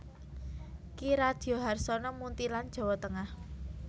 Ki Radyo Harsono Muntilan Jawa Tengah